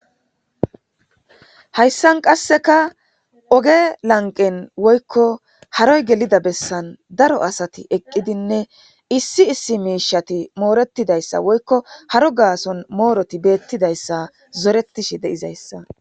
Hayssan qasseka oge lanqen woykko haroy gelida bessan daro asati eqqidinne issi issi miishati mooretidayssa woykko haro gaason mooroti beettidayssa zoretishi de'izayssa.